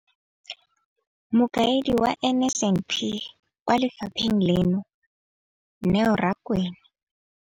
Mokaedi wa NSNP kwa lefapheng leno, Neo Rakwena.